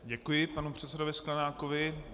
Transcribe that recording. Děkuji panu předsedovi Sklenákovi.